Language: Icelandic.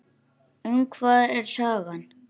Um hvað er sagan?